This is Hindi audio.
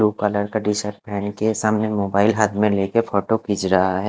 ब्लू कलर का टी-शर्ट पहन के सामने मोबाइल हाथ में लेके फोटों खींच रहा है।